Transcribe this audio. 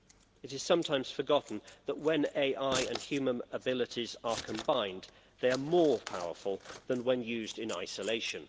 It is sometimes forgotten that when AI and human abilities are combined, they are more powerful than when used in isolation.